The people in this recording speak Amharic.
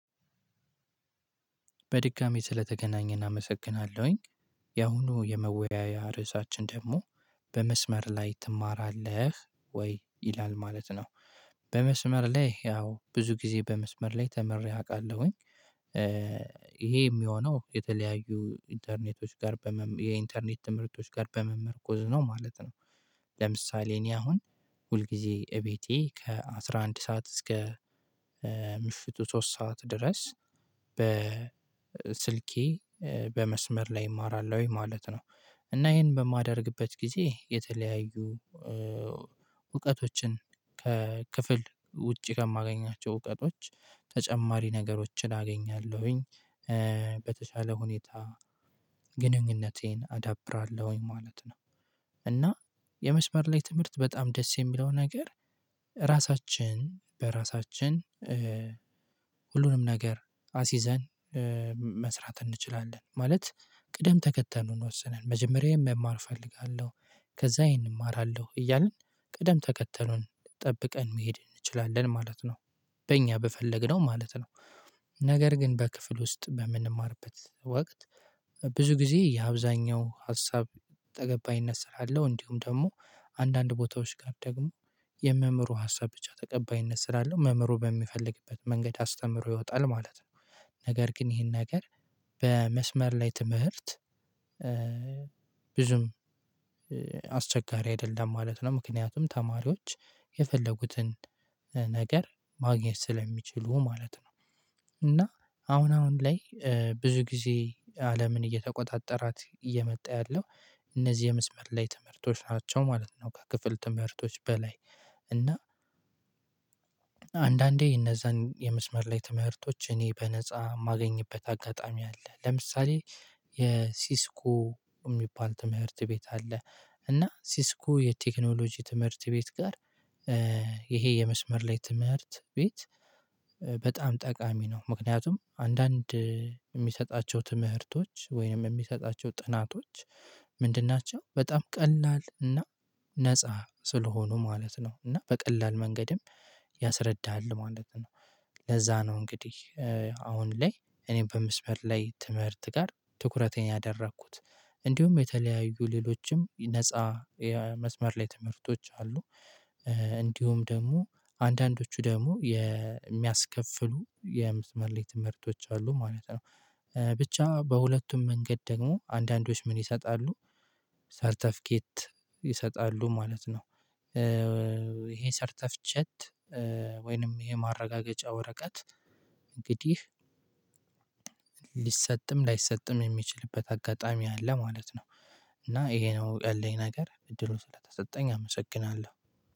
በድጋሚ ስለተገናኘን አመሰግናለሁኝ ያሁኑ የመወያያ ርዕሳችን ደግሞ በመስመር ላይ ትማራለህ ወይ ይላል ማለት ነው? በመስመር ላይ ያው ብዙ ጊዜ በመስመር ላይ ተምሬ አውቃለሁኝ። ይሄ የሚሆነው የተለያዩ ኢንተርኔቶች ጋር በመ የኢንተርኔት ትምህርት ጋር በመመርኮዝ ነው ማለት ነው። ለምሳሌ እኔ አሁን ሁል ጊዜ እቤቴ ከአሥራ አንድ ሰዓት እስከ ምሽቱ ሶስት ሰዓት ድረስ በስልኬ በመስመር ላይ እማራለሁኝ ማለት ነው። እና ይሄን በማደርግበት ጊዜ የተለያዩ እውቀቶችን ከክፍል ውጪ ከማገኛቸው እውቀቶች ተጨማሪ ነገሮችን አገኛለሁኝ በተቻለ ሁኔታ ግንኙነቴን አዳብራለሁኝ ማለት ነው። እና የመስመር ላይ ትምህርት በጣም ደስ የሚለው ነገር ራሳችን በራሳችን ሁሉንም ነገር አሲዘን መስራት እንችላለን ማለት ቅደም ተከተሉን ወስነን መጀመሪያ ይሄን መማር እፈልጋለሁ ከዛ ይሄን እማራለሁ እያልን ቅደም ተከተሉን ጠብቀን መሄድ እንችላለን ማለት ነው። በእኛ በፈለግነው ማለት ነው። ነገር ግን በክፍል ውስጥ በምንማርበት ወቅት ብዙ ጊዜ የአብዛኛው ሀሳብ ተቀባይነት ስላለው እንዲሁም ደግሞ አንዳንድ ቦታዎች ጋር ደግሞ የመምህሩ ሀሳብ ብቻ ተቀባይነት ስላለው መምህሩ በሚፈልግበት መንገድ አስተምሮ ይወጣል ማለት ነው። ነገር ግን ይሄን ነገር በመስመር ላይ ትምህርት ብዙም አስቸጋሪ አይደለም ማለት ነው ምክንያቱም ተማሪዎች የፈለጉትን ነገር ማግኘት ስለሚችሉ ማለት ነው። እና አሁን አሁን ላይ ብዙ ጊዜ አለምን እየተቆጣጠራት እየመጣ ያለው እነዚህ የመስመር ላይ ትምህርቶች ናቸው ማለት ነው። ከክፍል ትምህርቶች በላይ እና አንዳንዴ እነዛን የመስመር ላይ ትምህርቶች እኔ በነፃ የማገኝበት አጋጣሚ አለ ለምሳሌ የሲስኮ የሚባል ትምህርት ቤት አለ። እና ሲስኮ የቴክኖሎጂ ትምህርት ቤት ጋር ይሄ የመስመር ላይ ትምህርት ቤት በጣም ጠቃሚ ነው። ምክንያቱም አንዳንድ የሚሰጣቸው ትምህርቶች ወይንም የሚሰጣቸው ጥናቶች ምንድን ናቸው በጣም ቀላል እና ነፃ ስለሆኑ ማለት ነው። እና በቀላል መንገድም ያስረዳሃል ማለት ነው። ለዛ ነው እንግዲህ አሁን ላይ እኔ በመስመር ላይ ትምህርት ጋር ትኩረቴን ያደረኩት እንዲሁም የተለያዩ ሌሎችም ነፃ የመስመር ላይ ትምህርቶች አሉ። እንዲሁም ደግሞ አንዳንዶቹ ደግሞ የሚያስከፍሉ የመስመር ላይ ትምህርቶች አሉ ማለት ነው። ብቻ በሁለቱም መንገድ ደግሞ አንዳንዶች ምን ይሰጣሉ? ሰርተፍኬት ይሰጣሉ ማለት ነው። ይሄ ሰርተፍኬት ወይንም የማረጋገጫ ወረቀት እንግዲህ ሊሰጥም ላይሰጥም የሚችልበት አጋጣሚ አለ ማለት ነው። እና ይሄ ነው ያለኝ ነገር እድሉ ስለተሰጠኝ አመሰግናለሁ